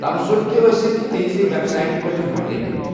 تبصُرٕ تہِ ٲسِکھ تِہنٛزِ ویب سائٹہِ پٮ۪ٹھٕ ہٹایۍ مٕتی۔